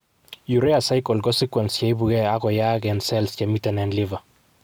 urea cycle ko sequence cheipuge ak koyaak en cells chemiten en Liver.